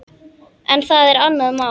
En það er annað mál.